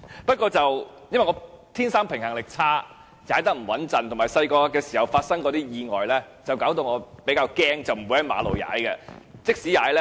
不過，因為我天生平衡力差，所以踏得不穩，加上小時候發生過一些意外，令我比較害怕，不會在馬路上踏單車。